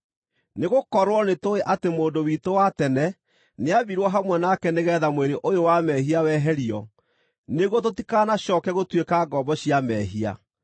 Nĩgũkorwo nĩtũũĩ atĩ mũndũ witũ wa tene nĩambirwo hamwe nake nĩgeetha mwĩrĩ ũyũ wa mehia weherio, nĩguo tũtikanacooke gũtuĩka ngombo cia mehia,